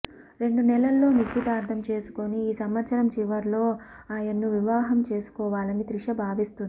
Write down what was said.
రెండు నెలల్లో నిశ్చితార్థం చేసుకుని ఈ సంవత్సరం చివర్లో ఆయన్ను వివాహం చేసుకోవాలని త్రిష భావిస్తుంది